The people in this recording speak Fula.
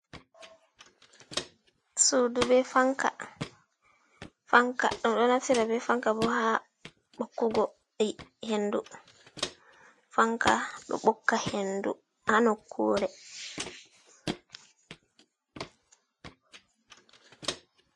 Suudu be fanka, fanka dum ɗo naftira be fanka bo ha ɓokkugo hendu, fanka ɗo ɓokka hendu ha nokkuure.